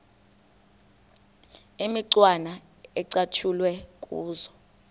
imicwana ecatshulwe kuzo